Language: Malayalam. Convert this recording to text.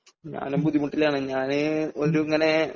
ഞാനും ബുദ്ധിമുട്ടിലാണ് ഞാന് ഒരു ഇങ്ങനെ